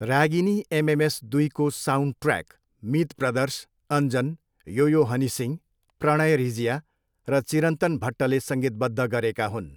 Ragini MMS दुईको soundtrack Meet Brothers Anjan, yo yo Honey Singh, Pranay Rijia र चिरन्तन भट्टले सङ्गीतबद्ध गरेका हुन्।